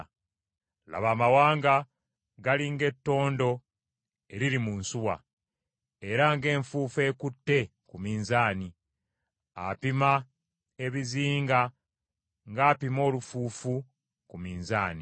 Laba amawanga gali ng’ettondo eriri mu nsuwa, era ng’enfuufu ekutte ku minzaani, apima ebizinga ng’apima olufuufu ku minzaani.